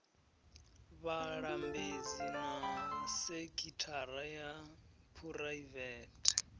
vhalambedzi na sekithara ya phuraivete